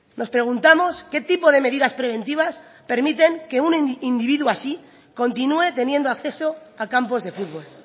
nos preguntamos qué tipo de medidas preventivas permiten que un individuo así continúe teniendo acceso a campos de fútbol